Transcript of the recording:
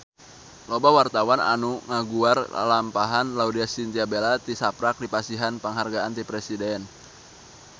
Loba wartawan anu ngaguar lalampahan Laudya Chintya Bella tisaprak dipasihan panghargaan ti Presiden